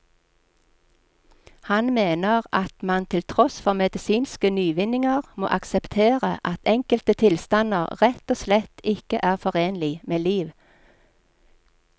Han mener at man til tross for medisinske nyvinninger må akseptere at enkelte tilstander rett og slett ikke er forenlig med liv.